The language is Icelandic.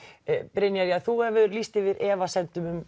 Brynjar þú hefur efasemdir um